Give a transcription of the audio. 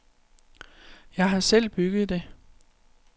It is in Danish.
Jeg har selv bygget det.